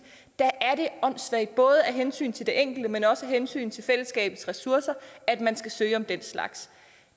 der er det åndssvagt både af hensyn til den enkelte men også af hensyn til fællesskabets ressourcer at man skal søge om den slags